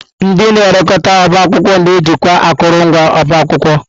Ndị na elekọta ọbá akwụkwọ na-ejikwa akụrụngwa ọba akwụkwọ.